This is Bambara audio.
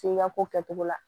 F'i ka ko kɛcogo la